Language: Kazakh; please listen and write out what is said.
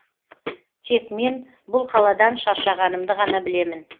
тек мен бұл қаладан шаршағанымды ғана білемін